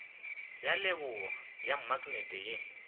ya leboa ya maknete ye